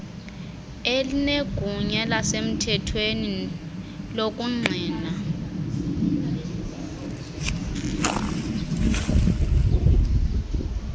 elinegunya lasemthethweni lokungqina